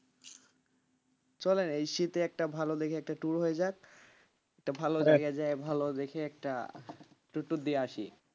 চলেন এই শীতে একটা ভালো দেখে একটা tour হয়ে যাক একটা ভালো যা ভাল দেখে একটা tour tour দিয়ে আসি,